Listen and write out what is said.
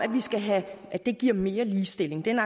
at det giver mere ligestilling det er